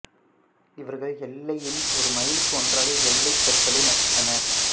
இவர்கள் எல்லையில் ஒரு மைலுக்கு ஒன்றாக எல்லைக் கற்களை நட்டனர்